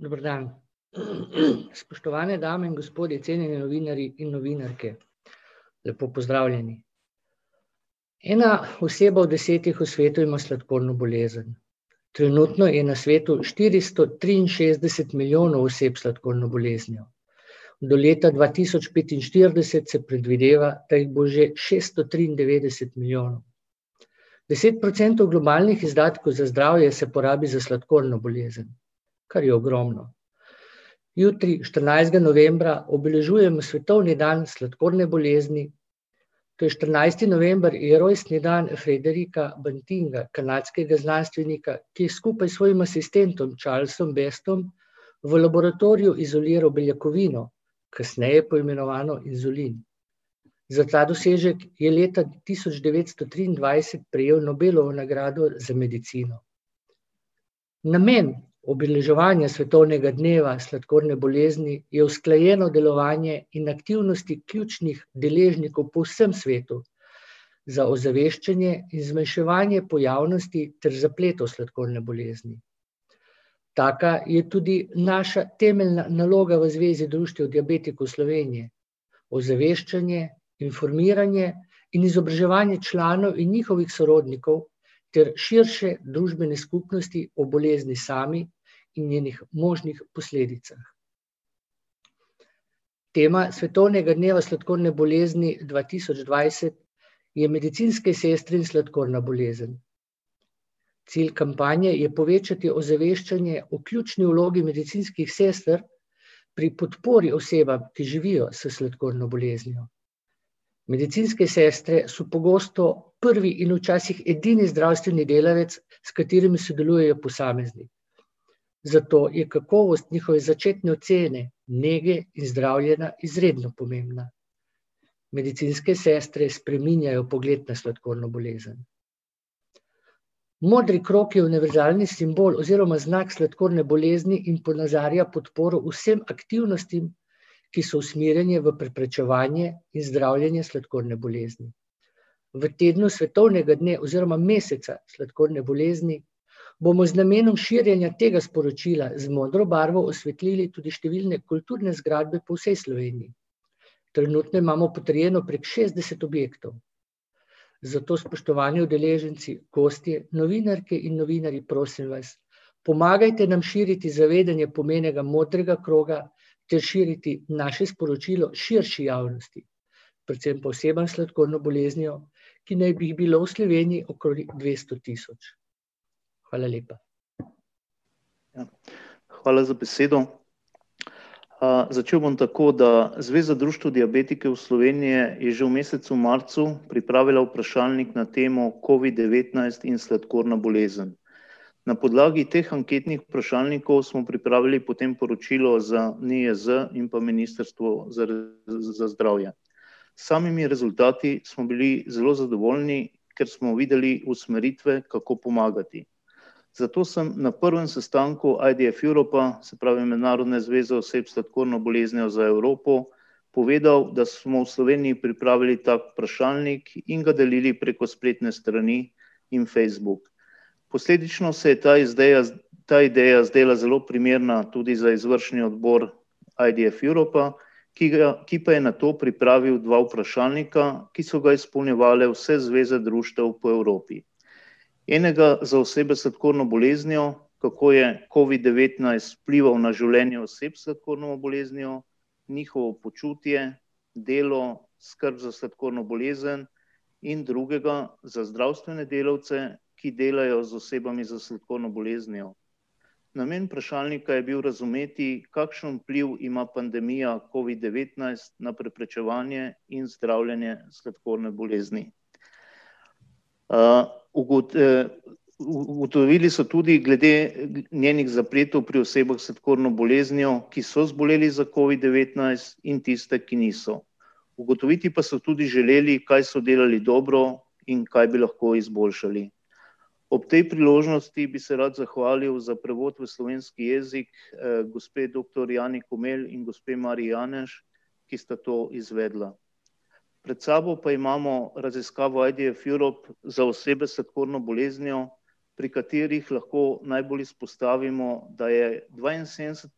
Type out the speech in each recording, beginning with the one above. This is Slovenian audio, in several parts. Dober dan, spoštovane dame in gospodje, cenjeni novinarji in novinarke, lepo pozdravljeni. Ena oseba od desetih v svetu ima sladkorno bolezen. Trenutno je na svetu štiristo triinšestdeset milijonov oseb s sladkorno boleznijo, do leta dva tisoč petinštirideset se predvideva, da jih bo že šeststo triindevetdeset milijonov. Deset procentov globalnih izdatkov za zdravje se porabi za sladkorno bolezen, kar je ogromno. Jutri, štirinajstega novembra, obeležujemo svetovni dan sladkorne bolezni, to je štirinajsti november je rojstni dan Fredericka Bantinga, kanadskega znanstvenika, ki je skupaj s svojim asistentom, Charlesom Bestom, v laboratoriju izoliral beljakovino, kasneje poimenovano inzulin. Za ta dosežek je leta tisoč devetsto triindvajset prejel Nobelovo nagrado za medicino. Namen obeleževanja svetovnega dneva sladkorne bolezni je usklajeno delovanje in aktivnosti ključnih deležnikov po vsem svetu za ozaveščanje in zmanjševanje pojavnosti ter zapletov sladkorne bolezni. Taka je tudi naša temeljna naloga v Zvezi društev diabetikov Slovenije, ozaveščanje, informiranje in izobraževanje članov in njihovih sorodnikov ter širše družbene skupnosti o bolezni sami in njenih možnih posledicah. Tema svetovnega dneva sladkorne bolezni dva tisoč dvajset je medicinske sestre in sladkorna bolezen. Cilj kampanje je povečati ozaveščanje o ključni vlogi medicinskih sester pri podpori osebam, ki živijo s sladkorno boleznijo. Medicinske sestre so pogosto prvi in včasih edini zdravstveni delavec, s katerim sodelujejo posamezni. Zato je kakovost njihove začetne ocene nege in zdravljenja izredno pomembna. Medicinske sestre spreminjajo pogled na sladkorno bolezen. Modri krog je univerzalni simbol oziroma znak sladkorne bolezni in ponazarja podporo vsem aktivnostim, ki so usmerjene v preprečevanje in zdravljenje sladkorne bolezni. V tednu svetovnega dne oziroma meseca sladkorne bolezni bomo z namenom širjenja tega sporočila z modro barvo osvetili tudi številne kulturne zgradbe po vsej Sloveniji. Trenutno imamo potrjeno prek šestdeset objektov. Zato, spoštovani udeleženci, gostje, novinarke in novinarji, prosim vas, pomagajte nam širiti zavedanje pomena modrega kroga ter širiti naše sporočilo širši javnosti. Predvsem pa osebam s sladkorno boleznijo, ki naj bi jih bilo v Sloveniji okoli dvesto tisoč. Hvala lepa. Hvala za besedo, začel bom tako, da Zveza društev diabetikov Slovenije je že v mesecu marcu pripravila vprašalnik na temo covid-devetnajst in sladkorna bolezen. Na podlagi teh anketnih vprašalnikov smo pripravili potem poročilo za NIJZ in pa Ministrstvo za za zdravje. S samimi rezultati smo bili zelo zadovoljni, ker smo videli usmeritve, kako pomagati. Zato sem na prvem sestanku IDF Europa, se pravi Mednarodne zveze oseb s sladkorno boleznijo za Evropo, povedal, da smo v Sloveniji pripravili ta vprašalnik in ga delili preko spletne strani in Facebook. Posledično se je ta ta ideja zdela zelo primerna tudi za izvršni odbor IDF Europa, ki ki pa je nato pripravil dva vprašalnika, ki so ga izpolnjevale vse zveze društev po Evropi. Enega za osebe s sladkorno boleznijo, kako je Covid-devetnajst vplival na življenje oseb s sladkorno boleznijo, njihovo počutje, delo, skrb za sladkorno bolezen, in drugega za zdravstvene delavce, ki delajo z osebami s sladkorno boleznijo. Namen vprašalnika je bil razumeti, kakšen vpliv ima pandemija covid-devetnajst na preprečevanje in zdravljenje sladkorne bolezni. ugotovili so tudi glede njenih zapletov pri osebah s sladkorno boleznijo, ki so zboleli za covid-devetnajst, in tiste, ki niso. Ugotoviti pa so tudi želeli, kaj so delali dobro in kaj bi lahko izboljšali. Ob tej priložnosti bi se rad zahvalil za prevod v slovenski jezik, gospe doktor [ime in priimek] in gospe [ime in priimek], ki sta to izvedla. Pred sabo pa imamo raziskavo IDF Europe za osebe s sladkorno boleznijo, pri katerih lahko najbolj izpostavimo, da je dvainsedemdeset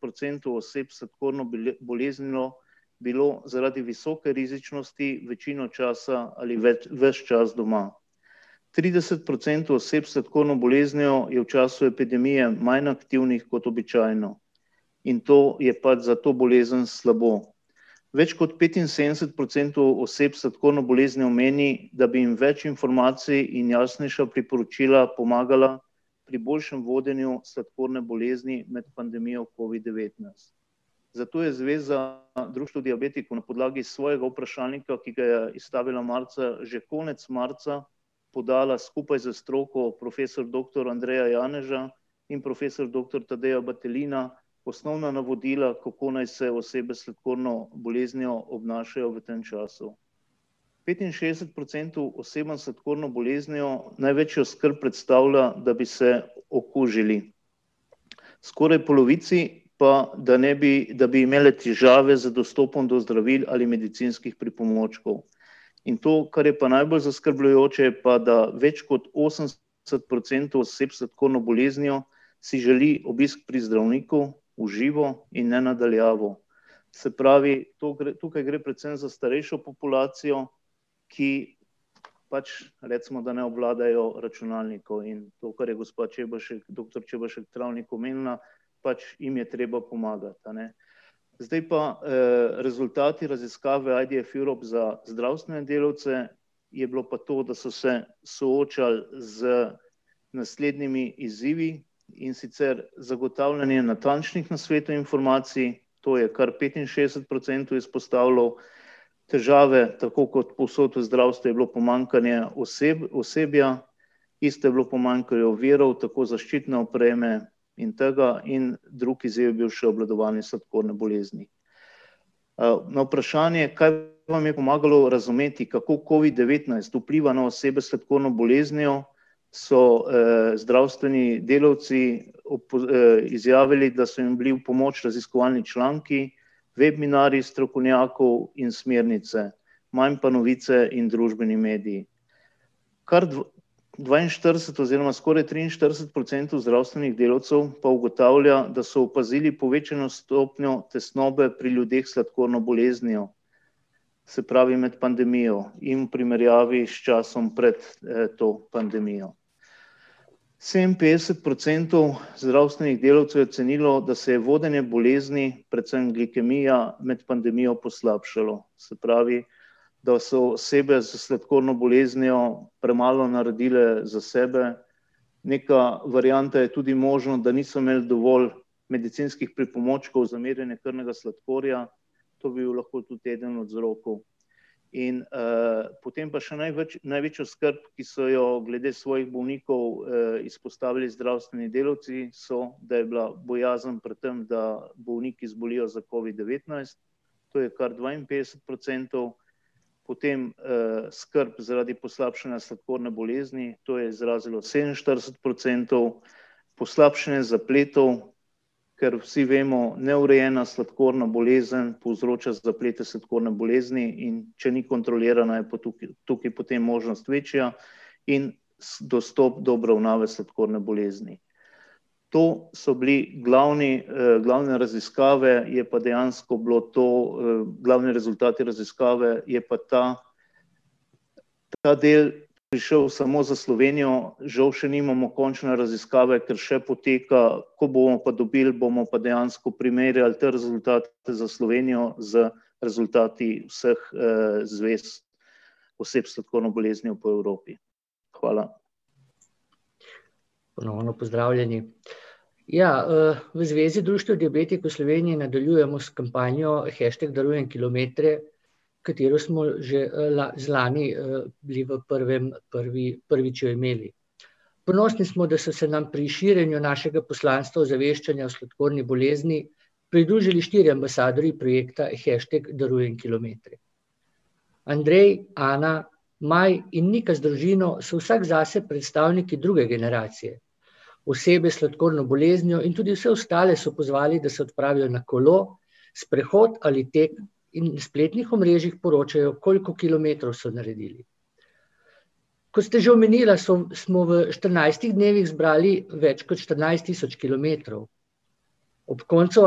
procentov oseb s sladkorno boleznijo bilo zaradi visoke rizičnosti večino časa ali ves čas doma. Trideset procentov oseb s sladkorno boleznijo je v času epidemije manj aktivnih kot običajno in to je pač za to bolezen slabo. Več kot petinsedemdeset procentov oseb s sladkorno boleznijo meni, da bi jim več informacij in jasnejša priporočila pomagala pri boljšem vodenju sladkorne bolezni med pandemijo covid-devetnajst. Zato je Zveza društev diabetikov na podlagi svojega vprašalnika, ki ga je izstavila marca, že konec marca, podala skupaj s stroko profesor doktor [ime in priimek] in profesor doktor [ime in priimek] osnovna navodila, kako naj se osebe s sladkorno boleznijo obnašajo v tem času. Petinšestdeset procentov osebam s sladkorno boleznijo največjo skrb predstavlja, da bi se okužili. Skoraj polovici pa, da ne da bi imeli težave z dostopom do zdravil ali medicinskih pripomočkov. In to, kar je pa najbolj zaskrbljujoče, je pa, da več kot osemdeset procentov oseb s sladkorno boleznijo si želi obisk pri zdravniku, v živo in ne na daljavo. Se pravi, to tukaj gre predvsem za starejšo populacijo, ki pač recimo, da ne obvladajo računalnikov, in to, kar je gospa Čebašek, doktor Čebašek Travnik omenila, pač jim je treba pomagati, a ne. Zdaj pa, rezultati raziskave IDF Europe za zdravstvene delavce. Je bilo pa to, da so se soočali z naslednjimi izzivi, in sicer zagotavljanje natančnih nasvetov in informacij, to je kar petinšestdeset procentov izpostavilo, težave, tako kot povsod v zdravstvu, je bilo pomanjkanje osebja, isto je bilo pomanjkanje virov, tako zaščitne opreme in tega, in drug izvir je bil še obvladovanje sladkorne bolezni. na vprašanje, kaj vam je pomagalo razumeti, kako covid-devetnajst vpliva na osebe s sladkorno boleznijo, so zdravstveni delavci izjavili, da so jim bili v pomoč raziskovalni članki, webinarji strokovnjakov in smernice. Manj pa novice in družbeni mediji. Kar dvainštirideset oziroma skoraj triinštirideset procentov zdravstvenih delavcev pa ugotavlja, da so opazili povečano stopnjo tesnobe pri ljudeh s sladkorno boleznijo. Se pravi med pandemijo in v primerjavi s časom pred to pandemijo. Sedeminpetdeset procentov zdravstvenih delavcev je ocenilo, da se je vodenje bolezni, predvsem glikemija, med pandemijo poslabšalo. Se pravi, da so osebe s sladkorno boleznijo premalo naredile za sebe, neka varianta je tudi možnost, da niso imeli dovolj medicinskih pripomočkov za merjenje krvnega sladkorja, to bi bil lahko tudi eden od vzrokov. In potem pa še največjo skrb, ki so jo glede svojih bolnikov izrazili izpostavili zdravstveni delavci, so, da je bila bojazen pred tem, da bolniki zbolijo za covid-devetnajst, to je kar dvainpetdeset procentov, potem skrb zaradi poslabšanja sladkorne bolezni, to je izrazilo sedeminštirideset procentov, poslabšanje zapletov, ker vsi vemo, neurejena sladkorna bolezen povzroča zaplete sladkorne bolezni, in če ni kontrolirana, je tukaj potem možnost večja, in dostop do obravnave sladkorne bolezni. To so bili glavni glavne raziskave, je pa dejansko bilo to, glavni rezultati te raziskave, je pa ta, ta del prišel samo za Slovenijo, žal še nimamo končne raziskave, ker še poteka, ko bomo pa dobili, bomo pa dejansko primerjali te rezultate za Slovenijo z rezultati vseh zvez oseb s sladkorno boleznijo po Evropi. Hvala. Ponovno pozdravljeni, ja, v Zvezi društev diabetikov Slovenije nadaljujemo s kampanjo hashtag darujem kilometre, katero smo že, zlani, bili v prvem, prvi, prvi čremeli. Ponosni smo, da so se nam pri širjenju našega poslanstva ozaveščanja o sladkorni bolezni pridružili štirje ambasadorji projekta hashtag darujem kilometre. Andrej, Ana, Maj in Nika z družino so vsak zase predstavniki druge generacije. Osebe s sladkorno boleznijo in tudi vse ostale so pozvali, da se odpravijo na kolo, sprehod ali tek in s spletnih omrežjih poročajo, koliko kilometrov so naredili. Ko ste že omenila, so, smo v štirinajstih dnevih zbrali več kot štirinajst tisoč kilometrov. Ob koncu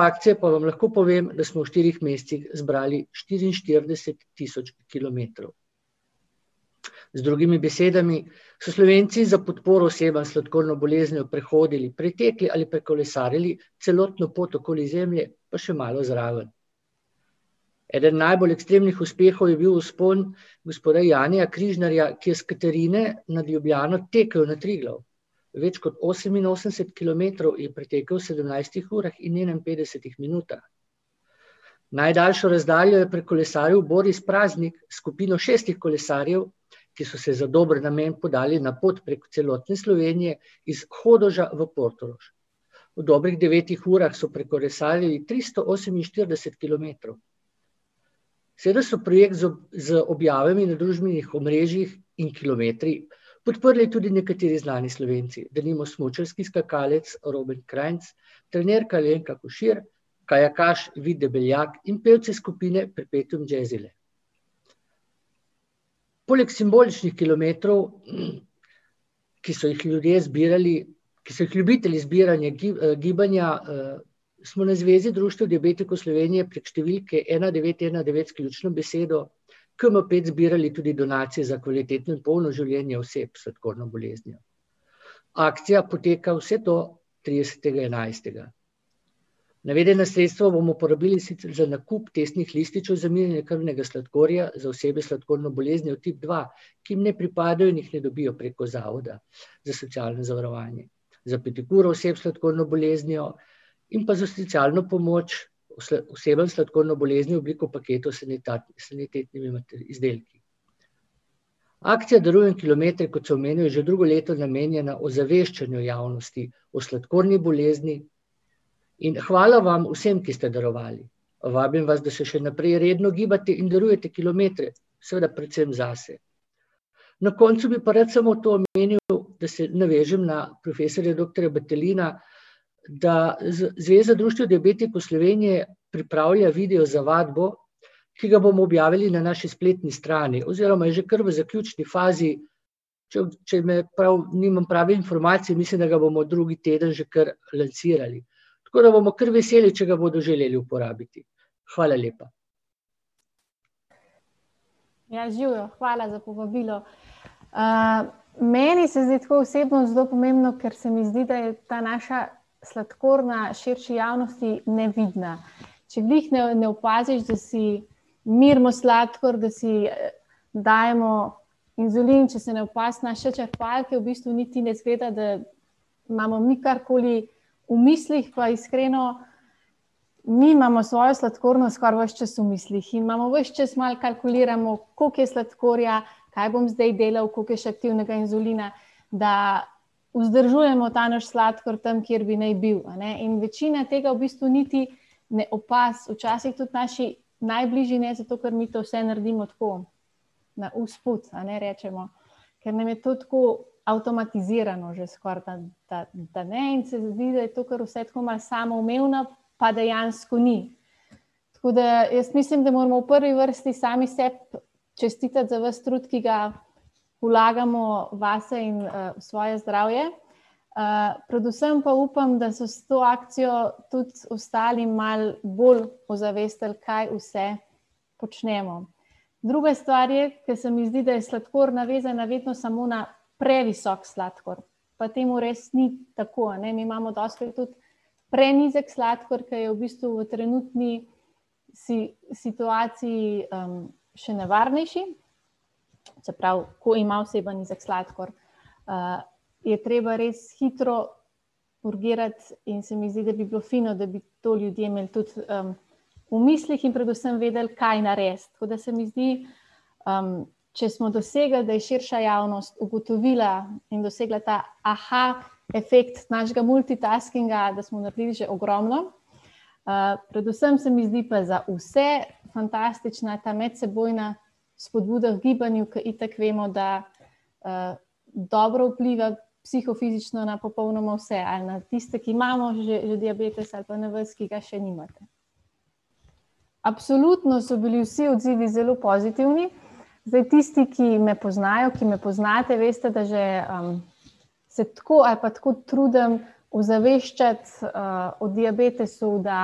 akcije pa vam lahko povem, da smo v štirih mesecih zbrali štiriinštirideset tisoč kilometrov. Z drugimi besedami, so Slovenci za podporo osebam s sladkorno boleznijo prehodili, pretekli ali prekolesarili celotno pot okoli Zemlje pa še malo zraven. Eden najbolj ekstremnih uspehov je bil vzpon gospoda [ime in priimek] , ki je s Katarine nad Ljubljano tekel na Triglav. Več kot oseminosemdeset kilometrov je pretekel v sedemnajstih urah in enainpetdesetih minutah. Najdaljšo razdaljo je prekolesaril [ime in priimek] s skupino šestih kolesarjev, ki so se za dober namen podali na pot prek celotne Slovenije, iz Hodoša v Portorož. V dobrih devetih urah so prekolesarili tristo oseminštirideset kilometrov. Seveda so projekt z z objavami na družbenih omrežjih in kilometri podprli tudi nekateri znani Slovenci, denimo smučarski skakalec Robert Kranjc, trenerka Alenka Košir, kajakaš Vid Debeljak in pevci skupine Perpetuum Jazzile. Poleg simboličnih kilometrov, ki so jih ljudje zbirali, ki so jih ljubitelji zbiranje gibanja, smo na Zvezi društev diabetikov Slovenije prek številke ena devet ena devet s ključno besedo KM pet zbirali tudi donacije za kvalitetni pol v življenju oseb s sladkorno boleznijo. Akcija poteka vse do tridesetega enajstega. Navedena sredstva bomo uporabili sicer za nakup testnih lističev za merjenje krvnega sladkorja za osebe s sladkorno boleznijo tip dva, ki jim ne pripadajo in jih ne dobijo preko Zavoda za socialno zavarovanje, za pedikuro oseb s sladkorno boleznijo in pa za socialno pomoč osebam s sladkorno boleznijo v obliki paketov s s sanitetnimi izdelki. Akcija Darujem kilometre, kot sem omenil, že drugo leto namenjena ozaveščanju javnosti o sladkorni bolezni, in hvala vam vsem, ki ste darovali. Vabim vas, da se še naprej redno gibate in darujete kilometre, seveda predvsem zase. Na koncu bi pa rad pa samo to omenil, da se navežem na profesorja doktorja Battelina, da Zveza društev diabetikov Slovenije pripravlja video za vadbo, ki ga bomo objavili na naši spletni strani oziroma že kar v zaključni fazi, če me nimam prave informacije, mislim, da ga bomo drugi teden že kar lansirali. Tako da bomo kar veseli, če ga bodo želeli uporabiti. Hvala lepa. Ja, živjo, hvala za povabilo, meni se zdi tako osebno zelo pomembno, ker se mi zdi, da je ta naša sladkorna širši javnosti nevidna. Če glih ne, ne opaziš, da si merimo sladkor, da si dajemo inzulin, če se ne opazi naše črpalke, v bistvu niti ne izgleda, da imamo mi karkoli v mislih, pa iskreno mi imamo svojo sladkorno skoraj ves čas v mislih, ki imamo, ves čas malo kalkuliramo, koliko je sladkorja, kaj bom zdaj delal, koliko je še aktivnega inzulina, da vzdržujemo ta naš sladkor tam, kjer bi naj bil, a ne, in večina tega v bistvu niti ne opazi, včasih tudi naši najbližji ne, zato ker mi to vse naredimo tako, na usput, a ne, rečemo. Ker nam je to tako avtomatizirano že skoraj ta, ta, da ne, in se zdi, da je to kar vse tako malo samoumevno, pa dejansko ni. Tako da, jaz mislim, da moramo v prvi vrsti sami sebi čestitati za ves trud, ki ga vlagamo vase in v svoje zdravje, predvsem pa upam, da so s to akcijo tudi ostali malo bolj ozavestili, kaj vse počnemo. Druga stvar je, ker se mi zdi, da je sladkorna vezana vedno samo na previsok sladkor, pa temu res ni tako, a ne, mi imamo dostikrat tudi prenizek sladkor, ki je v bistvu v trenutni situaciji še nevarnejši, se pravi, ko ima oseba nizek sladkor, je treba res hitro urgirati, in se mi zdi, da bi bilo fino, da bi to ljudje imeli tudi v mislih in predvsem vedeli, kaj narediti, tako da se mi zdi če smo dosegli, da je širša javnost ugotovila in dosegla ta efekt našega multitaskinga, da smo naredili že ogromno, predvsem se mi zdi pa za vse fantastična ta medsebojna spodbuda k gibanju, ker itak vemo, da dobro vpliva psihofizično na popolnoma vse, ali na tiste, ki imamo že, že diabetes, ali pa na vas, ki ga še nimate. Absolutno so bili vsi odzivi zelo pozitivni, zdaj tisti, ki me poznajo, ki me poznate, veste, da že se tako ali pa tako trudim ozaveščati o diabetesu, da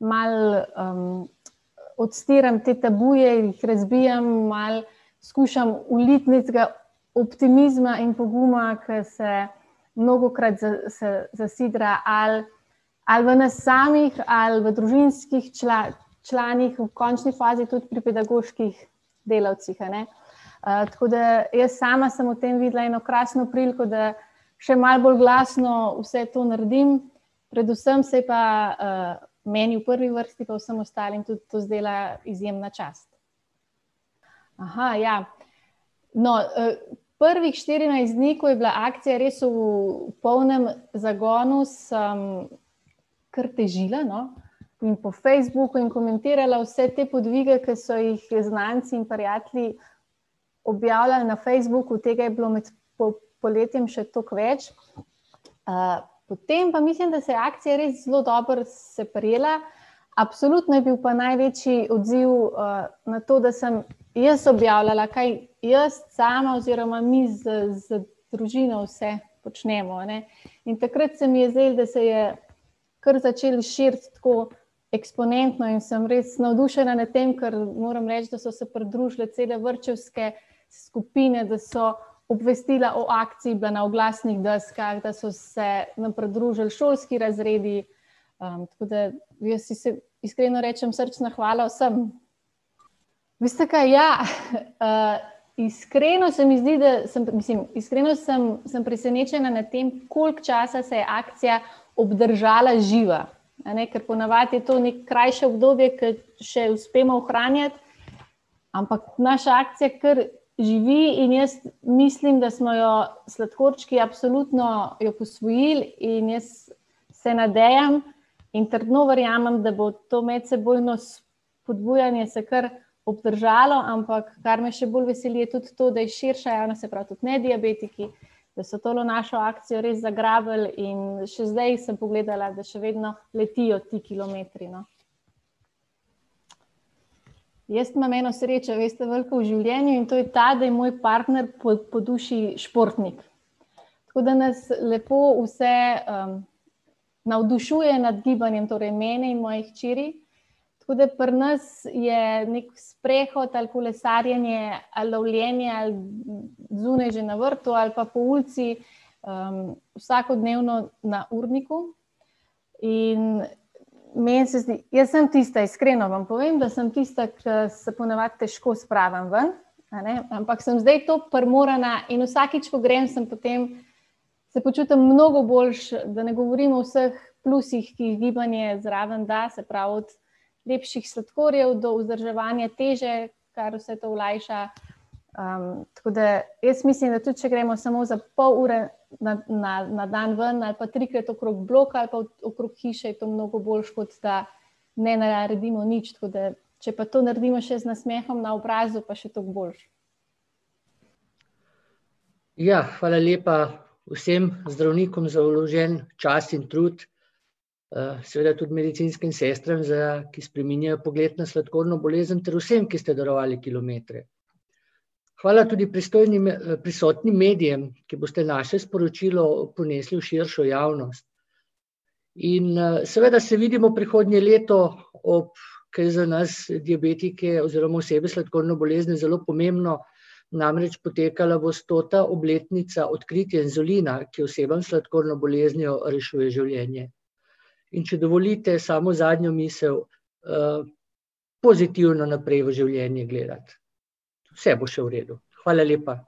malo odstiram te tabuje, jih razbijam, malo skušam vliti nekega optimizma in poguma, ko se mnogokrat zasidra ali ali v nas samih ali v družinskih članih, v končni fazi tudi pri pedagoških delavcih, a ne. tako da jaz sama sem v tem videla eno krasno priliko, da še malo bolj glasno vse to naredim, predvsem se je pa, meni v prvi vrsti pa vsem ostalim, tudi to zdela izjemna čast. ja, no, prvih štirinajst dni, ko je bila akcija res v polnem zagonu, sem kar težila, no, in po Facebooku in komentirala vse te podvige, ki so jih znanci in prijatelji objavljali na Facebooku, tega je bilo med poletjem še toliko več, potem pa mislim, da se je akcija res zelo dobro se prijela, absolutno je bil pa največji odziv na to, da sem jaz objavljala, kaj jaz sama oziroma mi z, z družino vse počnemo, a ne. In takrat se mi je zdelo, da se je kar začel širiti tako eksponentno in sem res navdušena nad tem, ker moram reči, da so se pridružile cele vrtčevske skupine, da so obvestila o akciji bila na oglasnih deskah, da so se nam pridružili šolski razredi, tako da jaz iskreno rečem srčna hvala vsem. Veste kaj, ja, iskreno se mi zdi, da sem, mislim, iskreno sem, sem presenečena nad tem, koliko časa se je akcija obdržala živa. A ne, ker ponavadi je to neko krajše obdobje, ke še uspemo ohranjati, ampak naša akcija kar živi in jaz mislim, da smo jo sladkorčki absolutno jo posvojili in jaz se nadejam in trdno verjamem, da bo to medsebojno spodbujanje se kar obdržalo, ampak kar me še bolj veseli, je tudi to, da je širša javnost, se pravi tudi nediabetiki, da so tole našo akcijo res zagrabili in še zdaj sem pogledala, da še vedno letijo ti kilometri, no. Jaz imam eno srečo, veste, veliko v življenju, in to je ta, da je moj partner po, po duši športnik. Tako da nas lepo vse navdušuje nad gibanjem, torej mene in moji hčeri, tako da pri nas je neki sprehod ali kolesarjenje ali lovljenje, ali zunaj že na vrtu ali pa po ulici, vsakodnevno na urniku. In meni se zdi ... Jaz sem tista, iskreno vam povem, da sem tista, ki se ponavadi težko spravim ven, a ne, ampak sem zdaj tako primorana, in vsakič, ko grem, sem potem ... Se počutim mnogo boljše, da ne govorim o vseh plusih, ki jih gibanje zraven da, se pravi od lepših sladkorjev do vzdrževanja teže, kar vse to olajša. tako da jaz mislim, da tudi če gremo samo za pol ure na, na, na, na dan ven ali pa trikrat okrog bloka ali pa okrog hiše, je to mnogo boljše, kot da ne naredimo nič, tako da ... Če pa to naredimo še z nasmehom na obrazu, pa še toliko boljše. Ja, hvala lepa, vsem zdravnikom za vložen čas in trud, seveda tudi medicinskim sestram za ... Ki spreminjajo pogled na sladkorno bolezen ter vsem, ki ste darovali kilometre. Hvala tudi pristojnim, prisotnim medijem, ki boste naše sporočilo ponesli v širšo javnost. In seveda se vidimo prihodnje leto ob ... Ki je za nas, diabetike oziroma osebe s sladkorno boleznijo, zelo pomembno, namreč potekala bo stota obletnica odkritja inzulina, ki osebam s sladkorno boleznijo rešuje življenje. In če dovolite samo zadnjo misel, pozitivno naprej v življenje gledati, vse bo še v redu. Hvala lepa.